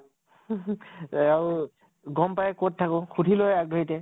এয়াও গম পায় কʼত থাকো, সুধি লয় আগ ধৰিতে